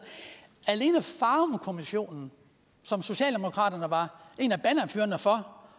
alene farumkommissionen som socialdemokraterne var en af bannerførerne for